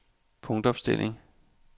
punktopstilling